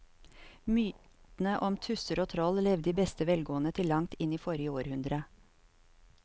Mytene om tusser og troll levde i beste velgående til langt inn i forrige århundre.